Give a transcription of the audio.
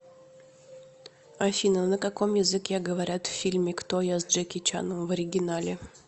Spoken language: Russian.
афина на каком языке говорят в фильме кто я с джеки чаном в оригинале